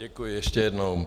Děkuji ještě jednou.